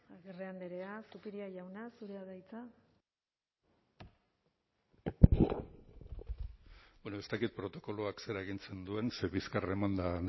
agirre andrea zupiria jauna zurea da hitza ez dakit protokoloak zer agintzen duen ze bizkarra emanda